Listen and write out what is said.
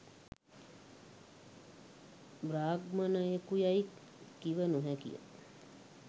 බ්‍රාහ්මණයෙකු යැයි කිව නොහැකිය